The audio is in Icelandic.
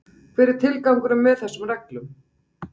Hver er tilgangurinn með þessum reglum?